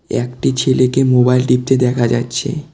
একটি ছেলেকে মোবাইল টিপতে দেখা যাচ্ছে।